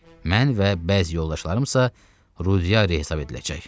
Mən və bəzi yoldaşlarım isə Rudiari hesab ediləcək.